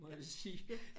Må jeg sige